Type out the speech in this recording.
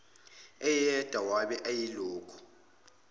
eyedwa wabe eyilokhu